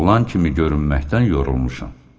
Oğlan kimi görünməkdən yorulmuşam.